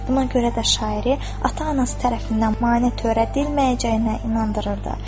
Buna görə də şairi ata-anası tərəfindən maneə törədilməyəcəyinə inandırırdı.